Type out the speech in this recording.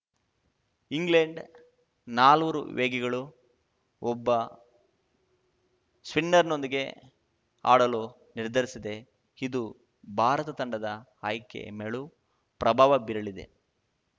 England ನಾಲ್ವರು ವೇಗಿಗಳು ಒಬ್ಬ ಸ್ಪಿನ್ನರ್‌ನೊಂದಿಗೆ ಆಡಲು ನಿರ್ಧರಿಸಿದೆ ಇದು ಭಾರತ ತಂಡದ ಆಯ್ಕೆ ಮೇಲೂ ಪ್ರಭಾವ ಬೀರಲಿದೆ